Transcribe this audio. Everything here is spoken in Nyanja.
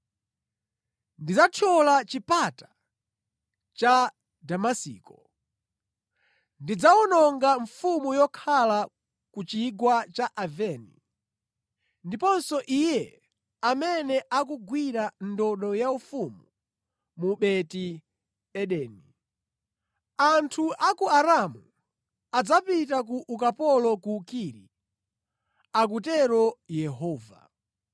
Ndidzathyola chipata cha Damasiko; ndidzawononga mfumu yokhala ku Chigwa cha Aveni, ndiponso iye amene akugwira ndodo yaufumu mu Beti-Edeni. Anthu a ku Aramu adzapita ku ukapolo ku Kiri,” akutero Yehova.